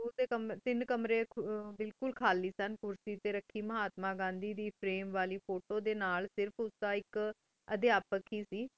school ਡੀ ਤੀਨ ਕਮੀਆਂ ਬਿਲਕੁਲ ਖਾਲੀ ਸਨ ਕ੍ਰਸੇ ਟੀ ਰਾਖੀ ਮਹ੍ਤਾਮਾ ਪ੍ਰੇਮ ਵਾਲੀ ਫੋਟੋ ਡੀ ਨਾਲ ਸਿਰਫ ਉਸ ਦਾ ਆਇਕ ਅਧਪ ਕੀ ਸੇ ਟੀ ਜੋ ਅਸੀਂ